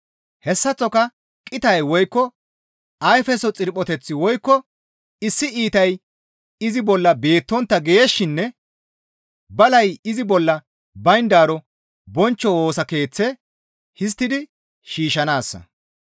Hessaththoka qitay woykko ayfeso xirphoteththi woykko issi iitay izi bolla beettontta geeshshinne balay izi bolla bayndaaro bonchcho Woosa Keeththe histtidi shiishshanaassa.